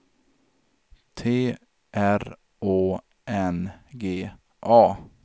T R Å N G A